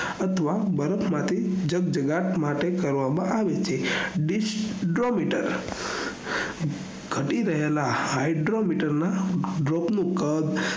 અથવા બરફ માટે જગજ્ગાત કરવામાં આવે છે disdrometer ઘટી રહેલા hydrometer ના drop નું